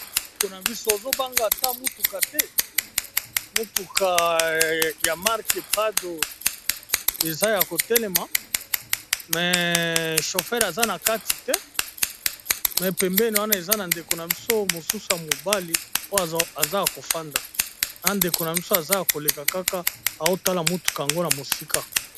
Ndeko na biso ozobanga ta motuka te motuka ya mark e prado eza ya kotelema me shofer aza na kati te me pembeni wana eza na ndeko na biso mosusu ya mobali oyo aza ya kofanda na ndeko na biso aza ya koleka kaka aotala motuka yango na mosika.